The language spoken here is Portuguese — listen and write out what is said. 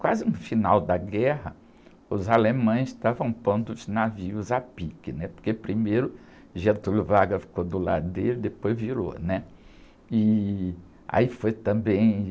Quase no final da guerra, os alemães estavam pondo os navios a pique, né? Porque primeiro Getúlio Vargas ficou do lado dele e depois virou, né? E aí foi também...